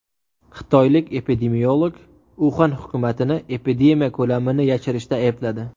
Xitoylik epidemiolog Uxan hukumatini epidemiya ko‘lamini yashirishda aybladi.